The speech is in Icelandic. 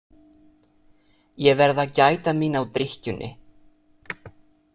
Ég verð að gæta mín á drykkjunni.